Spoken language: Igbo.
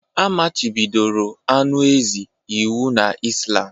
A machibidoro anụ ezi iwu na Islam